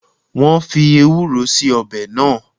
Wọn fii Ewúró síí ọbẹ̀ náà